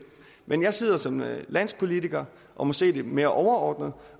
men jeg sidder som landspolitiker og må se lidt mere overordnet